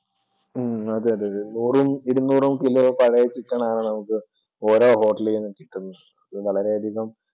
ഉം അതെതെതെ നൂറും ഇരുന്നൂറും kilo പഴയ chicken ആണ് നമുക്ക് ഓരോ hotel കളിൽ നിന്നും കിട്ടുന്നത്. ഇത് വളരെ അധികം